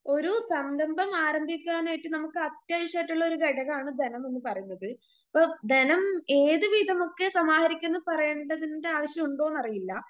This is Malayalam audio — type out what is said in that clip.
ഓരോ സംരംഭം ആരംഭിക്കാനായിട്ട് നമുക്ക് അത്യാവശ്യമായിട്ടുള്ളൊരു ഘടകാണ് ധനമെന്നു പറയുന്നത്.ഇപ്പൊ ധനം ഏതു വിധമൊക്കെ സമാഹരിക്കൂന്ന് പറയേണ്ടതിന്‍റെ ആവശ്യമുണ്ടോയെന്നറിയില്ല